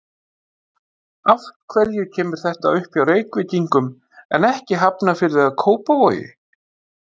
Af hverju kemur þetta upp hjá Reykvíkingum, en ekki í Hafnarfirði eða Kópavogi?